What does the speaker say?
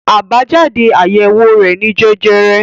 Àbájáde àyẹ̀wò rẹ̀ ni jẹjẹrẹ.